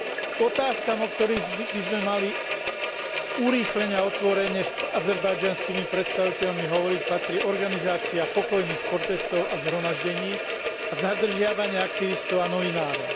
K otázkam, o ktorých by sme mali urýchlene a otvorene s azerbajdžanskými predstaviteľmi hovoriť, patrí organizácia pokojných protestov a zhromaždení a zadržiavanie aktivistov a novinárov.